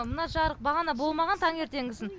мына жарық бағана болмаған таңертеңгісін